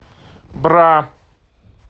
бра